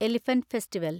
elephant festival